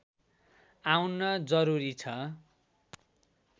आउन जरूरी छ